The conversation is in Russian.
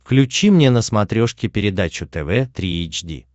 включи мне на смотрешке передачу тв три эйч ди